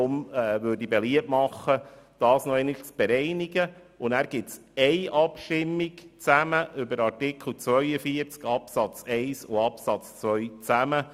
Deshalb mache ich beliebt, dies zu bereinigen und nachher in einer einzigen Abstimmung über die Absätze 1 und 2 von Artikel 42 des FiKo-Minderheitsantrags zu befinden.